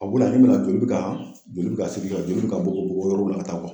A wulila ne ma joli be ka joli be ka seri , joli be ka bɔ bɔ ka taa yɔrɔw la ka taa